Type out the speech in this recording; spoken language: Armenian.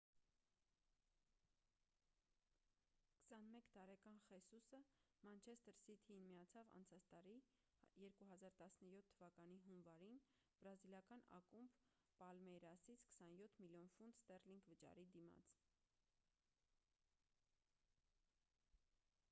21 տարեկան խեսուսը մանչեստր սիթիին միացավ անցած տարի 2017 թվականի հունվարին բրազիլական ակումբ պալմեյրասից 27 միլիոն ֆունտ ստեռլինգ վճարի դիմաց